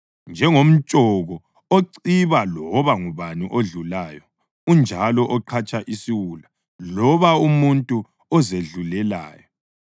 Njengomtshoko ociba loba ngubani odlulayo unjalo oqhatsha isiwula loba umuntu ozedlulelayo.